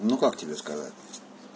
ну как тебе сказать